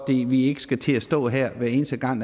vi ikke skal til at stå her hver eneste gang